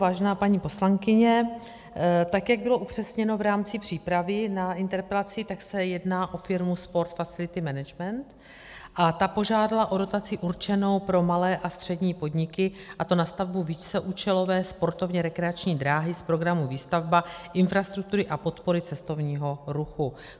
Vážená paní poslankyně, tak, jak bylo upřesněno v rámci přípravy na interpelaci, tak se jedná o firmu Sport Facility Management a ta požádala o dotaci určenou pro malé a střední podniky, a to na stavbu víceúčelové sportovně rekreační dráhy z programu Výstavba infrastruktury a podpory cestovního ruchu.